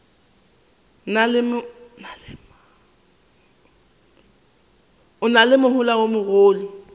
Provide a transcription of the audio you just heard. na le mohola o mogolo